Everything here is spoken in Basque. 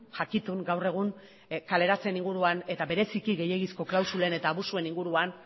jakitun gaur egun kaleratzeen inguruan eta bereziki gehiegizko klausulen eta abusuen inguruan